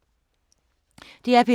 DR P3